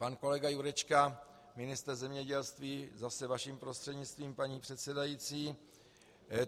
Pan kolega Jurečka, ministr zemědělství - zase vaším prostřednictvím, paní předsedající.